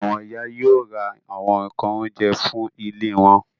Àwọn ìyá yóò ra àwọn nǹkan oúnjẹ fún ilé wọn.